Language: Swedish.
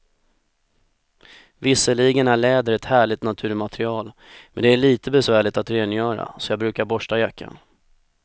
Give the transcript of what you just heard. Visserligen är läder ett härligt naturmaterial, men det är lite besvärligt att rengöra, så jag brukar borsta jackan.